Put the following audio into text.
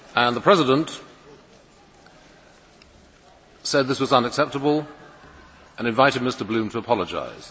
The President said this was unacceptable and invited Mr Bloom to apologise.